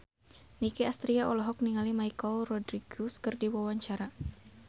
Nicky Astria olohok ningali Michelle Rodriguez keur diwawancara